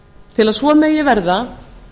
til að svo megi verða